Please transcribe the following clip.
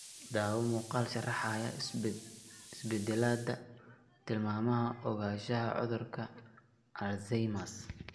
Daawo muuqaal sharaxaya isbeddelada tilmaamaha ogaanshaha cudurka Alzheimers.